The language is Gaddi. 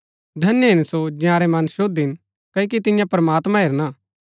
धन्य हिन सो जंयारै मन शुद्ध हिन क्ओकि तियां प्रमात्मां हेरणा